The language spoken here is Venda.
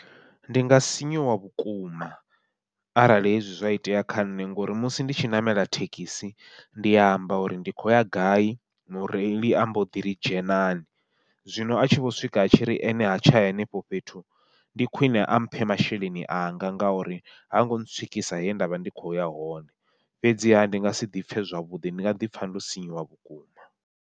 Ndi nga sinyuwa vhukuma arali hezwi zwa itea kha nṋe, ngori musi nditshi ṋamela thekhisi ndi amba uri ndi khou ya gai mureili ambo ḓi ri dzhenani. Zwino atshi vho swika a tshiri ene ha tsha ya henefho fhethu, ndi khwiṋe amphe masheleni anga ngauri hango ntswikisa he ndavha ndi kho ya hone, fhedziha ndi nga si ḓipfhe zwavhuḓi ndi nga ḓipfha ndo sinyuwa vhukuma.